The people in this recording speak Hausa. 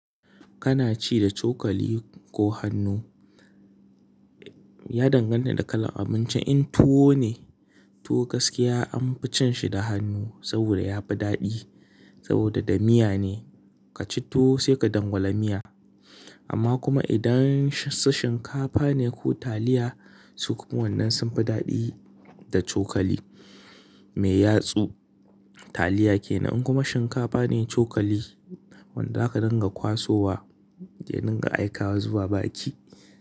Kana ci da cokali ko hannu, ya danganta da kalan abincin. In tuwo ne, tuwo gaskiya an fi cin shi da hannu saboda yafi daɗi saboda da miya ne. Ka ci tuwo sai ka dangwala miya. Amma kuma idan su shinkafa ne ko taliya su kuma wannan sunfi daɗi da cokali mai yatsu. Taliya kenan in kuma shinkafa ne cokali wanda zaka dinga kwasowa domin ka aika zuwa baki.